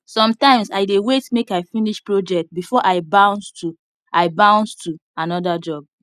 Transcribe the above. sometimes i dey wait make i finish project before i bounce to i bounce to another job